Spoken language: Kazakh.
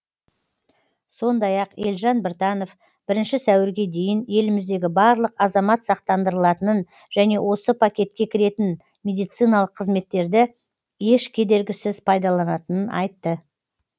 сондай ақ елжан біртанов бірінші сәуірге дейін еліміздегі барлық азамат сақтандырылатынын және осы пакетке кіретін медициналық қызметтерді еш кедергісіз пайдаланатынын айтты